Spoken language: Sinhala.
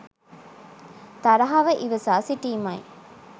තරහව ඉවසා සිටීමයි.